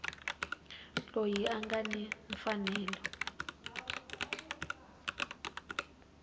loyi a nga ni mfanelo